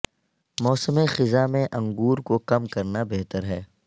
موسم خزاں میں انگور کو کم کرنا بہتر ہے